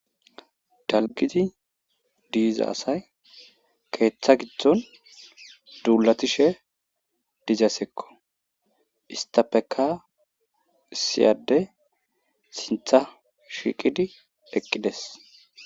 Dalgizi diiza asay keeththa gitdon duulatishe dizasekko istapeka siyade sintha shiqidi eqqides.